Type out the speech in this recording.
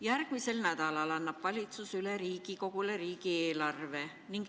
Järgmisel nädalal annab valitsus Riigikogule üle riigieelarve.